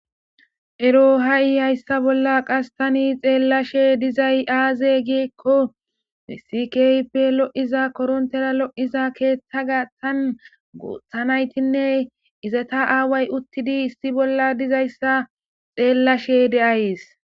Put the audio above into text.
Ero ha7ihaysa bolla tani be7ashe de7izayssi aaze giikko issi koronttera lo7iza keetheybeettes guutha naytinne aawati issippe uttidayssa xeellashe de7ays.